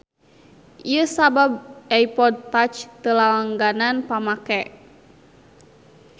Ieu sabab iPod touch teu lalanggan pamake.